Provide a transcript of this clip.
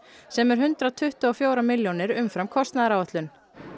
sem er hundrað tuttugu og fjórar milljónir umfram kostnaðaráætlun